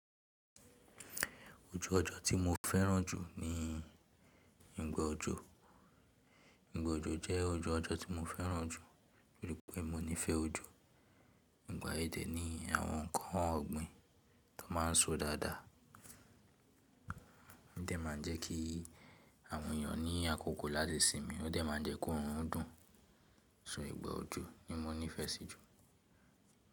Ojú ọjọ́ tí mo fẹ́ràn jù ni ìgbà òjò. Ìgbà òjò jẹ́ ojú ọjọ́ tí mo fẹ́ràn jù torí pé mo nífẹ̀ẹ́ òjò. Ìgbà yẹn dẹ̀ ni àwọn nǹkan ọ̀gbìn tó máa ń so dáadáa. Ó dẹ̀ má ń jẹ́ kí àwọn ènìyàn ní àkókò láti sinmi, ó dẹ̀ má ń jẹ́ kóòrùn dùn. So ìgbà ọjọ́ ni mo nífẹ̀ẹ́ sí jù.